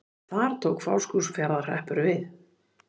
Þar tók Fáskrúðsfjarðar- hreppur við.